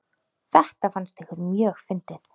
Þetta fannst ykkur mjög fyndið.